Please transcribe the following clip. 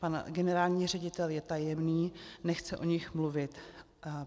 Pan generální ředitel je tajemný, nechce o nich mluvit.